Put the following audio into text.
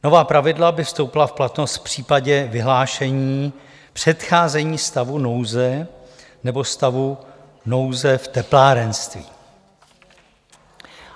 Nová pravidla by vstoupila v platnost v případě vyhlášení předcházení stavu nouze nebo stavu nouze v teplárenství.